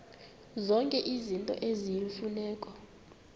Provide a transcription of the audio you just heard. zonke izinto eziyimfuneko